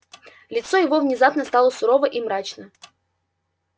лицо его внезапно стало сурово и мрачно